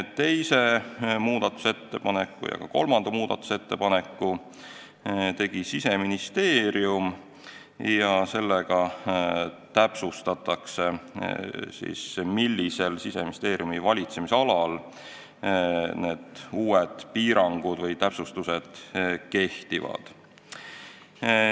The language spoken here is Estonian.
Teise ja ka kolmanda muudatusettepaneku tegi Siseministeerium ja nendega täpsustatakse, millises Siseministeeriumi valitsemisalas need uued piirangud või täpsustused kehtivad.